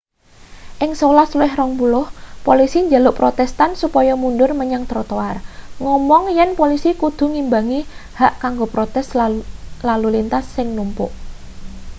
ing 11.20 polisi njaluk protestan supaya mundur menyang trotoar ngomong yen polisi kudu ngimbangi hak kanggo protes lan lalu lintas sing numpuk